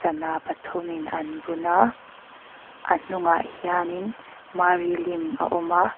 sana pathum in an bun a a hnungah hian in mary lim a awm a.